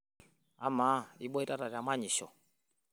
Amaa, iboitata temanyisho?